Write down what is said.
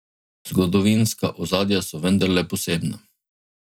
Zgodovinska ozadja so vendarle posebna.